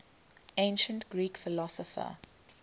ancient greek philosopher